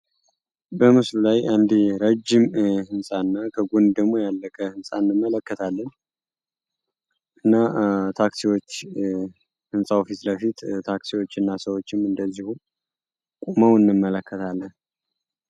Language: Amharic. በምስሉ ላይ አንድ ረዥም ህንፃ እና ከጉን ደግሞ ያለቀ ህንፃ እንመለከትለን። እና ታክሲዎች ሕንፃው ፊት ለፊት ታክሲዎች እና ሰዎችም እንደዚሁ ቁመው እንመለከታለን።